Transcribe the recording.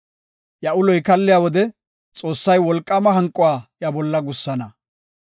Iya uloy kaalliya wode, Xoossay wolqaama hanquwa iya bolla gussana.